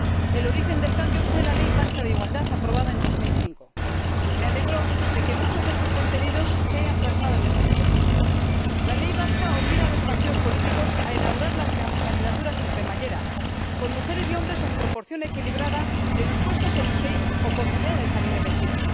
El origen del cambio fue la Ley vasca para la Igualdad de Mujeres y Hombres aprobada en el año 2005. Me alegro de que muchos de sus contenidos se hayan plasmado en este informe. La ley vasca obliga a los partidos políticos a elaborar las candidaturas en cremallera, con mujeres y hombres en proporción equilibrada en los puestos en los que hay posibilidad de salir elegido.